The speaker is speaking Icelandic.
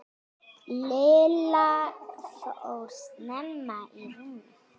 Lilla fór snemma í rúmið.